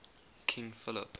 king philip